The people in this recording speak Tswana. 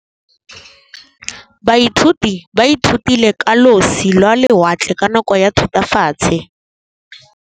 Baithuti ba ithutile ka losi lwa lewatle ka nako ya Thutafatshe.